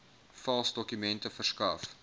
vals dokumente verskaf